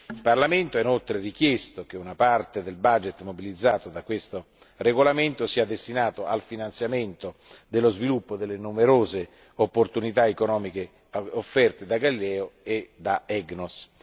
Il Parlamento ha inoltre richiesto che una parte del budget mobilitato da questo regolamento sia destinato al finanziamento dello sviluppo delle numerose opportunità economiche offerte da Galileo e da EGNOS.